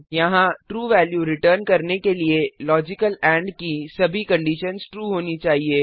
यहाँ true value return करने के लिए लॉजिकल एंड की सभी कंडीशन्स ट्रू होनी चाहिए